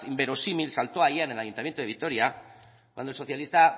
inverosímil saltó ayer en el ayuntamiento de vitoria cuando el socialista